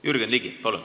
Jürgen Ligi, palun!